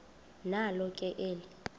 nalo ke eli